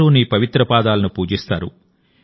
అందరూ నీ పవిత్ర పాదాలను పూజిస్తారు